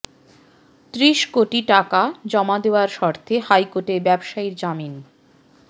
ত্রিশ কোটি টাকা জমা দেওয়ার শর্তে হাইকোর্টে ব্যবসায়ীর জামিন